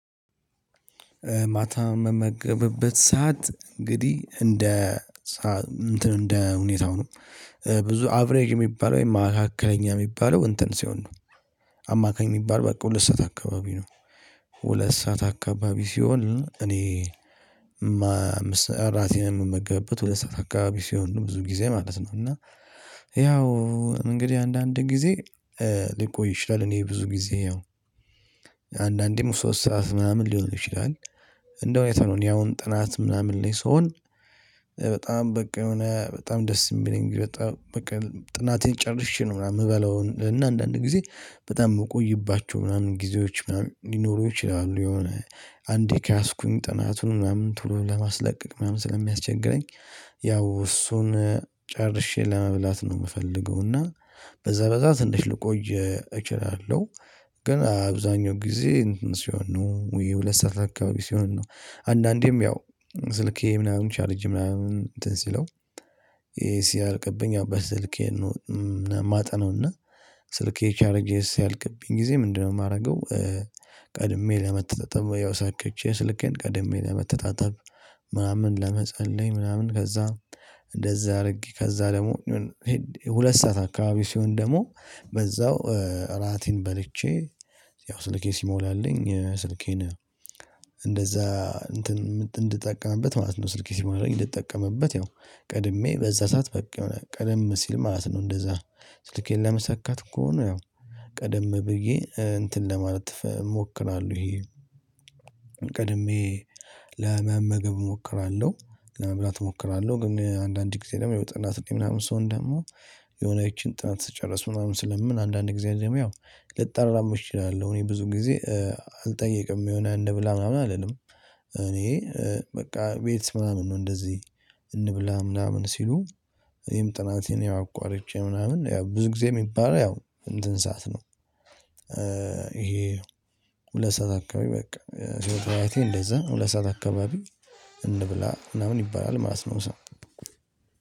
ማታ ምመገብበት ሰዓት እንግዲህ እንደ እንትን እንደ ሁኔታው ነው። ብዙ አቭሬጅ የሚባል ወይም ማካከለኛ የሚባለው እንትን ሲሆን ነው። አማካኝ የሚባል በቃ ሁለት ሰዓት አካባቢ ነው። ሁለት ሰዓት አካባቢ ሲሆን እኔ እራቴን የምመገብበት ሁለት ሰዓት አከባቢ ሲሆን ነው ብዙ ጊዜ ማለት ነው። እና ያው እንግዲህ አንዳንድ ጊዜ ሊቆይ ይችላል። እኔ ብዙ ጊዜ ያው አንዳንዴም ሶስት ሰዓት ምናምን ሊሆን ይችላል። እንደው አይተነው እኔ አሁን ጥናት ምናምን ላይ ስሆን። በጣም በቃ የሆነ በጣም ደስ የሚለኝ በጣም በቃ ጥናቴን ጨርሼ ነው። ምናምን የምበለውን እና አንዳንድ ጊዜ በጣም የምቆይባቸው ምናምን ጊዜዎች ምናምን ሊኖሩ ይችላሉ። የሆነ አንዴ ከያዝኩኝ ጥናቱን ምናምን ቶሎ ለማስለቀቅ ምናምን ስለሚያስቸግረኝ። ያው እሱን ጨርሼ ለመብላት ነው የምፈልገው እና በዛ በዛ ትንሽ ልቆይ እችላለሁ። ግን አብዛኛው ጊዜ ሲሆን ነው ውይ ሁለት ሰዓት አካባቢ ሲሆን ነው። አንዳንዴም ያው ስልኬ ምናምን ቻርጅ ምናምን እንትን ሲለው ይሄ ሲያልቅብኝ ያው በስልኬ ነው የማጠናውና ስልክ ቻርጀር ስያልቅብኝ ጊዜ ምንድነው የማደርገው? ቀድሜ ለመተጣጠብ ያው ሰከቼ ስልኬን ቀድሜ ለመተጣጠብ። ምናምን ለመጸለይ ምናምን ከዛ እንደዚህ አድርጌ ከዛ ደግሞ። ሁለት ሰዓት አካባቢ ሲሆን ደግሞ በዛው እራቴን በልቼ ያው ስልኬ ሲሞላልኝ ስልኬን እንደዛ እንትን እንድጠቀምበት ማለት ነው። ስልኬ ሲሞላኝ እንድጠቀምበት ያው ቀድሜ በዛ ሰዓት በቃ የሆነ ቀደም ሲል ማለት ነው። እንደዛ ስልኬን ለመሰካት ከሆነ ያው ቀደም ብዬ እንትን ለማለት እሞክራለሁ። ይሄ ቀድሜ ለመመገብ እሞክራለሁ ለመብላት እሞክራለሁ። ግን አንዳንዴ ጊዜ ደግሞ ያው ጥናት ላይ ምናምን ስሆን ደግሞ የሆነችን ጥናት ስጨርስ ምናምን ስለምል አንዳንድ ግዜ ደግሞ ያው ልጣላም እችላለሁ። እኔ ብዙ ጊዜ አልጠየቅም የሆነ እንብላ ምናምን አልልም። እኔ በቃ ቤት ምናምን እንደዚህ እንብላ ምናምን ሲሉ እኔም ጥናቴን ያው አቋርጬ ምናምን ያው ብዙ ጊዜ የሚባለው ያው እንትን ሰዓት ነው። ይሄ ሁለት ሰዓት አካባቢ በቃ ህይወት ህይወቴ እንደዛ ሁለት ሰዓት አካባቢ እንብላ ምናምን ይባላል ማለት ነው። ሰው